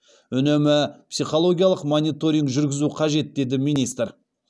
үнемі психологиялық мониторинг жүргізу қажет деді министр